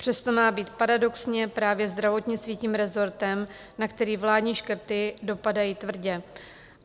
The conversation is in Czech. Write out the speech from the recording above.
Přesto má být paradoxně právě zdravotnictví tím resortem, na který vládní škrty dopadají tvrdě.